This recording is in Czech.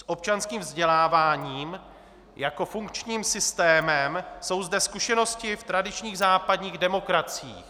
S občanským vzděláváním jako funkčním systémem jsou zde zkušenosti v tradičních západních demokraciích.